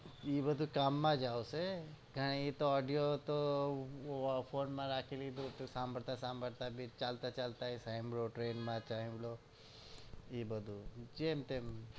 એ બધું કામ માં જ આવશે કઈ એતો audio તો phone માં રાખેલ લીધું તો સંભાળતા સંભાળતા ભી ચાલતા ચાલતા એ સાંભળ્યો train માં સાંભળ્યો એ બધું જેમ તેમ